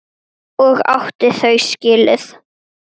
Og átti þau skilið.